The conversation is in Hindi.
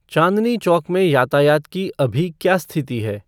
चाँदनी चौक में यातायात की अभी क्या स्तिथि है